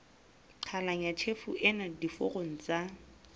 qhalanya tjhefo ena diforong tsa